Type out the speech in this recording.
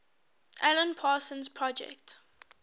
alan parsons project